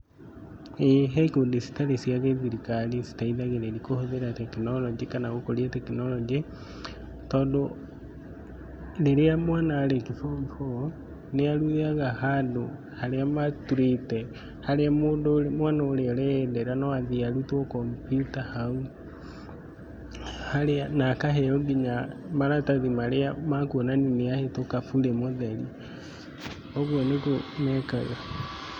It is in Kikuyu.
ĩĩ he ikundi citarĩ cia gĩthirikari citeithagĩrĩria kũhũthĩra tekinoronjĩ kana gũkũria tekinoronjĩ. Tondũ rĩrĩa mwana arĩkia form four, nĩ athiaga handũ harĩa maturĩte, harĩa mũndũ mwana ũrĩa ũreyendera no athiĩ arutwo kombiuta hau, na akaheo nginya maratathi marĩa makuonania nĩ ahĩtũka burĩ mũtheri. Ũguo nĩ guo mekaga.